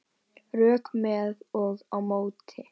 Rök með og á móti